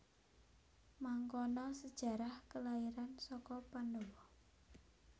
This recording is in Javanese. Mangkono sejarah kelairan saka Pandhawa